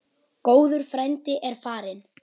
Góður frændi er farinn.